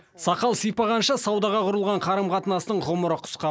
сақал сипағанша саудаға құрылған қарым қатынастың ғұмыры қысқа